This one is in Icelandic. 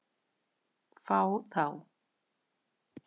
Fá þá?